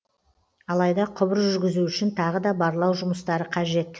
алайда құбыр жүргізу үшін тағы да барлау жұмыстары қажет